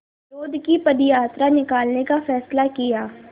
विरोध की पदयात्रा निकालने का फ़ैसला किया